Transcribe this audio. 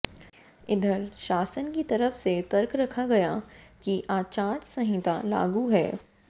इधर शासन की तरफ से तर्क रखा गया कि आचार संहिता लागू है